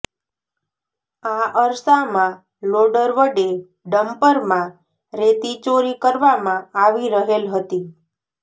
આ અરસામાં લોડર વડે ડમ્પરમાં રેતી ચોરી કરવામાં આવી રહેલ હતી